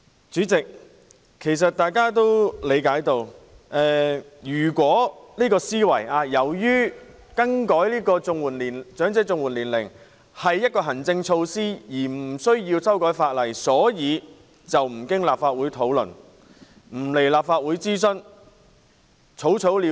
主席，其實大家也理解到，政府的思維是由於調整申領長者綜援的年齡是行政措施，故無須修改法例，因而無須經立法會討論及在立法會進行諮詢，可以草草了事。